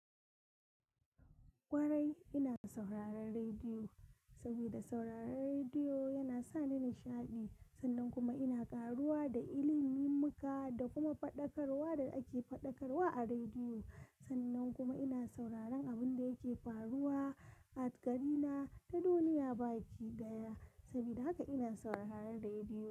Kwarai ina sauraron rediyo, saboda sauraron rediyo yana sa ni nishaɗi. Sannan kuma ina ƙaruwa da ilimin muka da kuma faɗakarwa da ake faɗakarwa a rediyo. Sannan kuma ina sauraron abin da yake faruwa a ƙari na da duniya baki daya. Saboda haka ina sauraron rediyo.